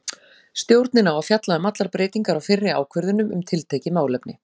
Stjórnin á að fjalla um allar breytingar á fyrri ákvörðunum um tiltekið málefni.